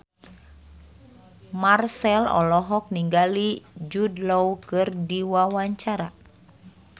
Marchell olohok ningali Jude Law keur diwawancara